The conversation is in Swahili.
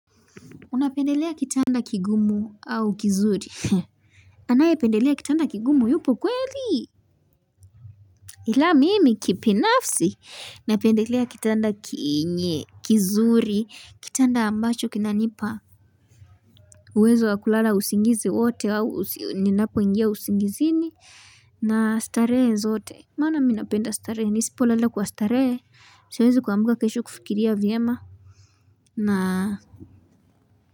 Unapendelea kitanda kigumu au kizuri anaye pendelea kitanda kigumu yupo kweli ila mimi kipinafsi napendelea kitanda kinye kizuri kitanda ambacho kinanipa uwezo wakulala usingizi wote au ninapo ingia usingizini na stare zote maana minapenda stare ni sipo lala kwa stare siwezi kwa ambuka kesho kufikiria viema na.